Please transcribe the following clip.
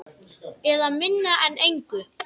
Eða minna en engu.